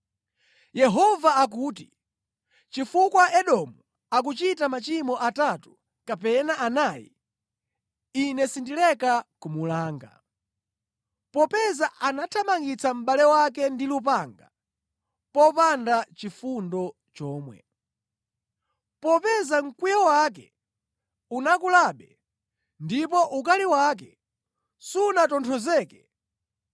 Yehova akuti, “Chifukwa anthu a ku Edomu akunka nachimwirachimwira, Ine sindileka kuwalanga. Popeza anathamangitsa mʼbale wake ndi lupanga, popanda nʼchifundo chomwe. Popeza mkwiyo wake unakulabe ndipo ukali wake sunatonthozeke,